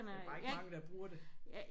Det er bare ikke mange der bruger det